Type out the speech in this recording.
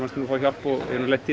fá hjálp ég hef nú lent í